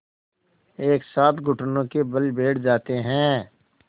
एक साथ घुटनों के बल बैठ जाते हैं